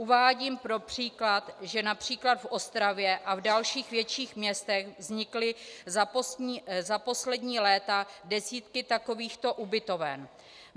Uvádím pro příklad, že například v Ostravě a v dalších větších městech vznikly za poslední léta desítky takovýchto ubytoven.